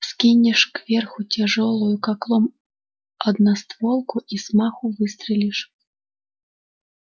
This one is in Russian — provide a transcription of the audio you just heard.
вскинешь кверху тяжёлую как лом одностволку и с маху выстрелишь